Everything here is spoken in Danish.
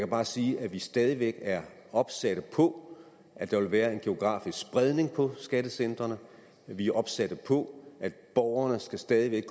bare sige at vi stadig væk er opsatte på at der vil være en geografisk spredning på skattecentrene at vi er opsatte på at borgerne stadig væk